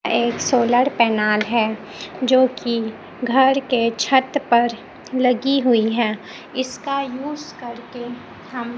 एक solar panel हैं जो की घर के छत पर लगी हुई हैं इसका यूज करके हम--